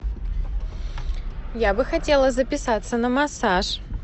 я бы хотела записаться на массаж